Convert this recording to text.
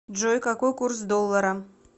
джой какой курс доллара